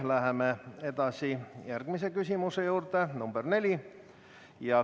Läheme edasi järgmise küsimuse juurde, nr 4.